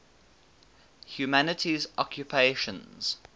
humanities occupations